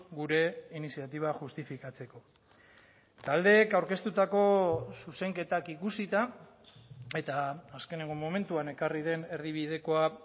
gure iniziatiba justifikatzeko taldeek aurkeztutako zuzenketak ikusita eta azkeneko momentuan ekarri den erdibidekoa